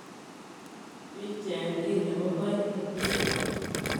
Bicheng' kei nebo kaitityet.